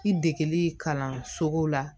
I degeli kalanso la